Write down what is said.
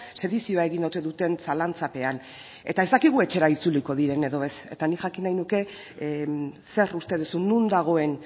sedizioa egin ote duten zalantzapean eta ez dakigu etxera itzuliko diren edo ez eta nik jakin nahi nuke zer uste duzun non dagoen